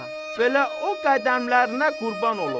Belə o qədəmlərinə qurban olum.